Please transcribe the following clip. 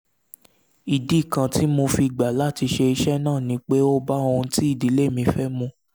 ìdí kan tí mo fi gbà láti ṣe iṣẹ́ náà ni pé ó bá ohun tí ìdílé mi fẹ́ mu